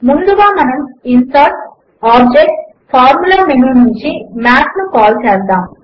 ముందుగా మనము ఇన్సర్టోగ్టోబ్జెక్ట్గ్ఫార్ఫార్ముల మేను నుంచి మాత్ ను కాల్ చేద్దాము